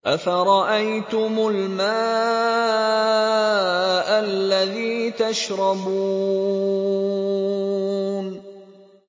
أَفَرَأَيْتُمُ الْمَاءَ الَّذِي تَشْرَبُونَ